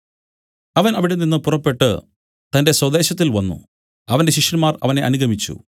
അവൻ അവിടെനിന്നു പുറപ്പെട്ടു തന്റെ സ്വദേശത്തിൽ വന്നു അവന്റെ ശിഷ്യന്മാർ അവനെ അനുഗമിച്ചു